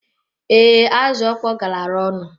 Ee, azụ okpọ galara ọnụ.